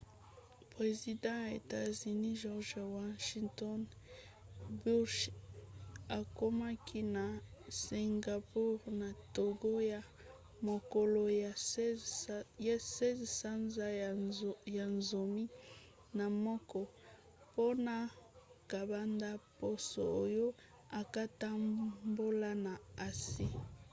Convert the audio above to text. president ya etats-unis george w. bursh akomaki na singapour na ntongo ya mokolo ya 16 sanza ya zomi na moko mpona kobanda poso oyo akotambola na asie